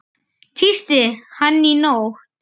Tísti hann í nótt?